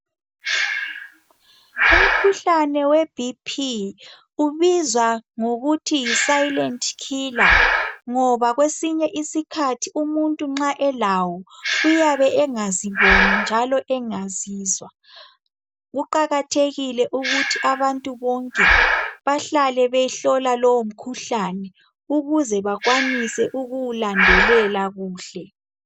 Umkhuhlane weBP ubizwa ngokuthi yi-silent killer ngoba kwesinye isikhathi umuntu nxa elawo uyabe engaziboni njalo engazizwa. Kuqakathekile ukuthi abantu bonke bahlale behlola lowomkhuhlane ukuze bakwanise ukuwulandelela kuhle.